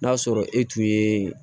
N'a sɔrɔ e tun ye